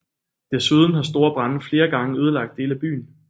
Desuden har store brande flere gange ødelagt dele af byen